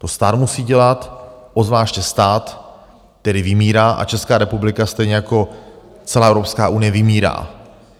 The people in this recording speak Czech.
To stát musí dělat, obzvláště stát, který vymírá, a Česká republika stejně jako celá Evropská unie vymírá.